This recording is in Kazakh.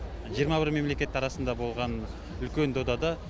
жиырма бір мемлекет арасында болған үлкен додада